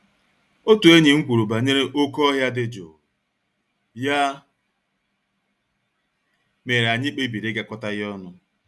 Otu enyi m kwuru banyere oké ọhịa dị jụụ, ya mere anyị kpebiri ịgakọta ya ọnụ